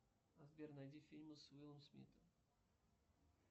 сбер найди фильмы с уиллом смитом